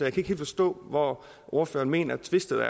ikke helt forstå hvor ordføreren mener twistet